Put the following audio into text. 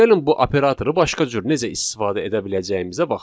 Gəlin bu operatoru başqa cür necə istifadə edə biləcəyimizə baxaq.